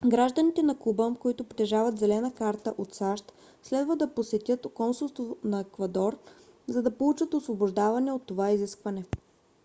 гражданите на куба които притежават зелена карта от сащ следва да посетят консулство на еквадор за да получат освобождаване от това изискване